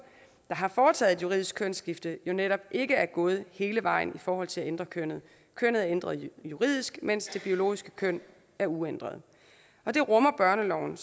der har foretaget et juridisk kønsskifte jo netop ikke er gået hele vejen i forhold til at ændre kønnet kønnet er ændret juridisk mens det biologiske køn er uændret og det rummer børneloven